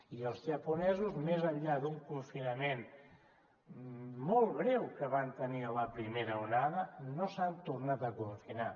i els japonesos més enllà d’un confinament molt breu que van tenir a la primera onada no s’han tornat a confinar